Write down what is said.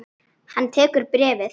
Hann tekur bréfið.